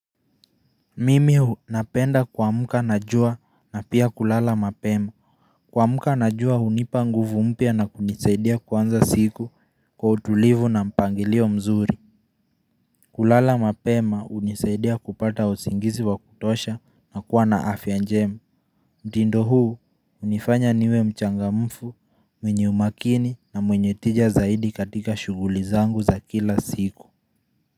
Mimi napenda kuamka na jua na pia kulala mapema Kuamka na jua hunipa nguvu mpya na kunisaidia kuanza siku kwa utulivu na mpangilio mzuri kulala mapema hunisaidia kupata usingizi wa kutosha na kuwa na afya njema mtindo huu hunifanya niwe mchangamfu mwenye umakini na mwenye tija zaidi katika shughuli zangu za kila siku.